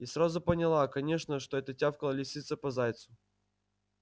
и сразу поняла конечно что это тявкала лисица по зайцу